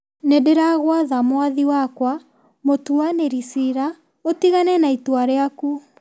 Nĩ ndĩragwatha mwathi wakwa mũtuanĩri ciira ũtigane na itua rĩaku.